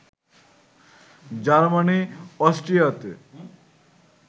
Germany অস্ট্রিয়াতে